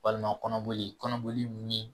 Walima kɔnɔboli kɔnɔboli mun ye